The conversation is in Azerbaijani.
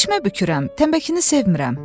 Eşmə bükürəm, təmbəkini sevmirəm.